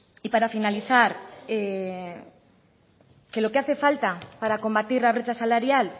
y para finalizar que lo que hace falta para combatir la brecha salarial